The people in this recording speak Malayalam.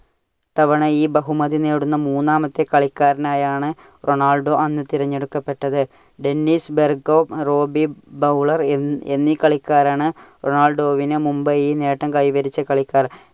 തവണ ഈ ബഹുമതി നേടുന്ന മൂന്നാമത്തെ കളിക്കാരനായാണ് റൊണാൾഡോ അന്ന് തിരഞ്ഞെടുക്കപ്പെട്ടത്. ഡെന്നിസ് ബെർകോം, റോബി ബൗളർ എന്നി കളിക്കാരാണ് റൊണാൾഡോവിനു മുമ്പേ ഈ നേട്ടം കൈവരിച്ച കളിക്കാർ.